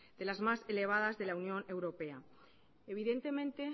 de las más elevadas de la unión europea evidentemente